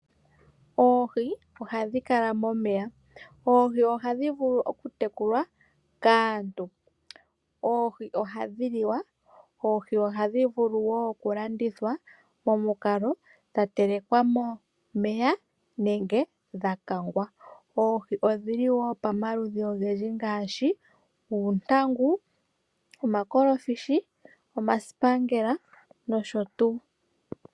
Oohi ohadhi kala momeya. Oohi ohadhi vulu oku tekulwa kaantu. Oohi ohadhi liwa. Oohi ohadhi vulu wo oku landithwa momukalo dha telekwa momeya nenge dha kangwa. Oohi odhili wo pamaludhi ogendji ngaashi oontangu, omakolofishi, omasipangela noaho tuu.